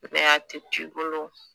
a tɛ to i bolo